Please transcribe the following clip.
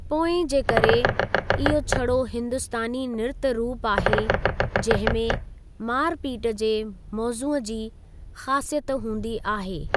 पोएं जे करे, इहो छड़ो हिंदुस्‍तानी नृत्‍य रूप आहे जंहिंमें मारपीट जे मौजूअ जी ख़ासियत हूंदी आहे।